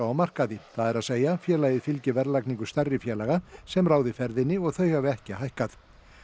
á markaði það er að segja félagið fylgi verðlagningu stærri félaga sem ráði ferðinni og þau hafi ekki hækkað